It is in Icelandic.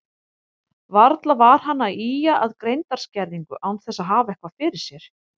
Varla var hann að ýja að greindarskerðingu án þess að hafa eitthvað fyrir sér.